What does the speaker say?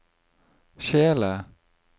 kjele